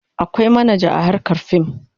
Akwai manaja a harkar fim.